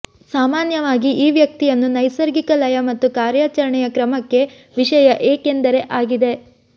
ಸಾಮಾನ್ಯವಾಗಿ ಈ ವ್ಯಕ್ತಿಯನ್ನು ನೈಸರ್ಗಿಕ ಲಯ ಮತ್ತು ಕಾರ್ಯಾಚರಣೆಯ ಕ್ರಮಕ್ಕೆ ವಿಷಯ ಏಕೆಂದರೆ ಆಗಿದೆ